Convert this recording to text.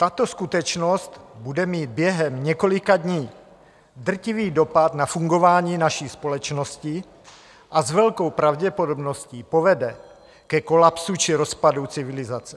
Tato skutečnost bude mít během několika dní drtivý dopad na fungování naší společnosti a s velkou pravděpodobností povede ke kolapsu či rozpadu civilizace.